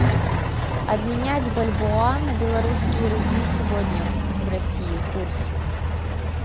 обменять бальбоа на белорусские рубли сегодня в россии курс